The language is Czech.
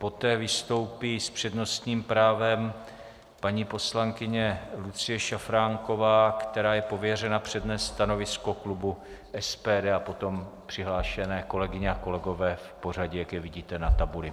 Poté vystoupí s přednostním právem paní poslankyně Lucie Šafránková, která je pověřena přednést stanovisko klubu SPD, a potom přihlášené kolegyně a kolegové v pořadí, jak je vidíte na tabuli.